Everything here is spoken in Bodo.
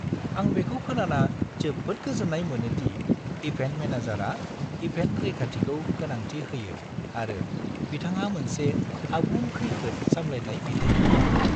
आं बेखौ खोनाना जोबोद गोजोन्नाय मोनो दि इभेन्ट मेनेजारआ इभेन्ट रैखाथिखौ गोनांथि होयो आरो बिथांहा मोनसे आबुं खैफोद सामलायथाय बिथांखि दं।